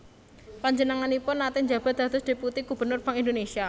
Panjenenganipun naté njabat dados deputi Gubernur Bank Indonesia